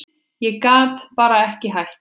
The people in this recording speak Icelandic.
Ég gat bara ekki hætt.